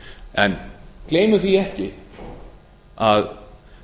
en gleymum því ekki að